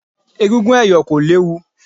Egúngún ẹ̀yọ̀ kò léwu.